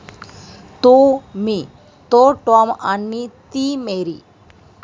तो मी, तो टॉम आणि ती मेरी.